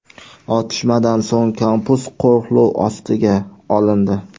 Otishmadan so‘ng kampus qo‘riqlov ostiga olindi.